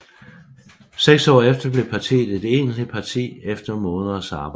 Seks år efter blev partiet et egentligt parti efter måneders arbejde